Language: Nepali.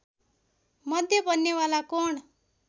मध्य बन्नेवाला कोण